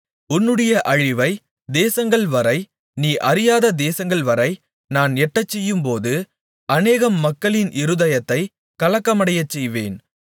உன்னுடைய அழிவை தேசங்கள் வரை நீ அறியாத தேசங்கள்வரை நான் எட்டச்செய்யும்போது அநேகம் மக்களின் இருதயத்தை கலக்கமடையச் செய்வேன்